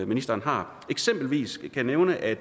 ministeren har eksempelvis kan jeg nævne at